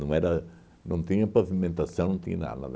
Não era não tinha pavimentação, não tinha nada.